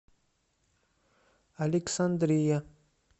александрия